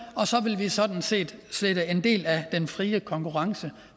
og så vil vi sådan set sætte en del af den frie konkurrence